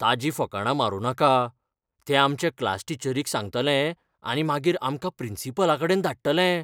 ताची फकांडां मारूं नाका. तें आमच्या क्लासटीचरीक सांगतलें आनी मागीर आमकां प्रिंसिपलाकडेन धाडटले.